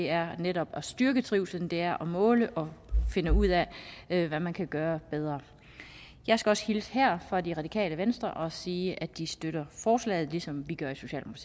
er netop at styrke trivslen det er at måle og finde ud af hvad man kan gøre bedre jeg skal også hilse her fra det radikale venstre og sige at de støtter forslaget ligesom vi gør